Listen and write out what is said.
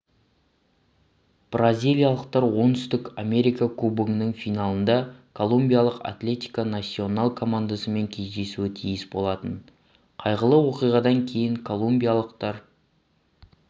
бразилиялықтар оңтүстік америка кубогының финалында колумбиялық атлетико насьонал командасымен кездесуі тиіс болатын қайғылы оқиғадан кейін колумбиялықтар